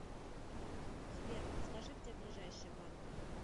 сбер подскажи где ближайший банк